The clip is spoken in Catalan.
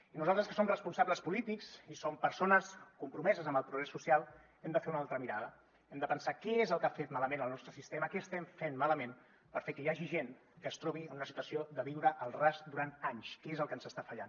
i nosaltres que som responsables polítics i som persones compromeses amb el progrés social hem de fer una altra mirada hem de pensar què ha fet malament el nostre sistema què estem fent malament per fer que hi hagi gent que es trobi en una situació de viure al ras durant anys què és el que ens està fallant